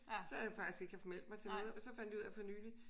Så har jeg faktisk ikke haft meldt mig til noget og så fandt jeg ud af for nylig